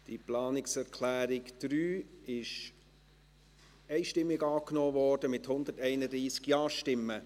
Die Planungserklärung 3 wurde einstimmig angenommen, mit 131 Ja-Stimmen.